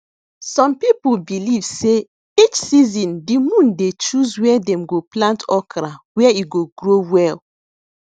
some people believe sey each season de moon dey choose where dem go plant okra where e go grow well